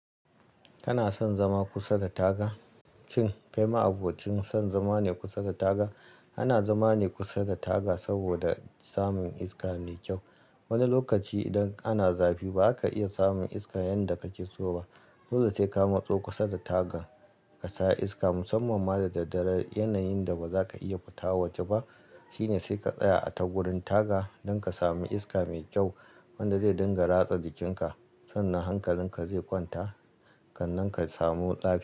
Kana son zama kusa da taga? Cin, kai ma abokin son zama ne kusa da taga. Ana zama ne kusa da taga saboda samun iska me kyau. Wani lokaci idan ana zafi, ba ka iya samun iska yanda kake so ba. Dole sai ka matso kusa da taga ka sha iska. Musamman ma da daddare, yanayin da ba za ka iya fita waje ba shine sai ka tsaya a tagurin taga don ka sami iska mai kyau wanda zai dinga ratsa jikinka sannan hankalin ka zai kwanta kan nan ka samu zafi.